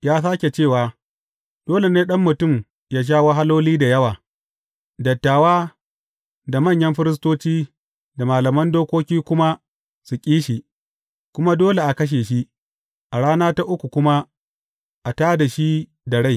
Ya sāke cewa, Dole ne Ɗan mutum ya sha wahaloli da yawa, dattawa, da manyan firistoci, da malaman dokoki kuma su ƙi shi, kuma dole a kashe shi, a rana ta uku kuma a tā da shi da rai.